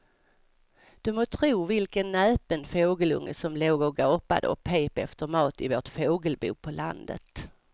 Du må tro vilken näpen fågelunge som låg och gapade och pep efter mat i vårt fågelbo på landet.